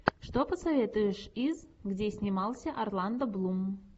что посоветуешь из где снимался орландо блум